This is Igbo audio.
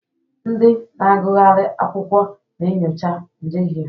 Ndị na-agụgharị akwụkwọ na-enyocha njehie.